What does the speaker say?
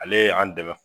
Ale ye an dɛmɛ